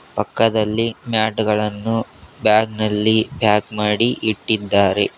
ಪಕ್ಕದಲ್ಲಿ ಮ್ಯಾಟ್ ಗಳನ್ನು ಬ್ಯಾಗ್ ನಲ್ಲಿ ಪ್ಯಾಕ್ ಮಾಡಿ ಇಟ್ಟಿದ್ದಾರೆ.